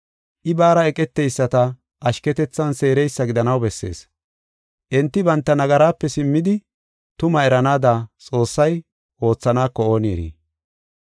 I baara eqeteyisata ashketethan seereysa gidanaw bessees. Enti banta nagaraape simmidi tumaa eranaada Xoossay oothaneko ooni eri.